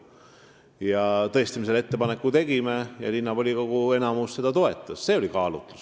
Me tõesti selle ettepaneku tegime ja linnavolikogu enamus toetas seda.